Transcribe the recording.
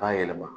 K'a yɛlɛma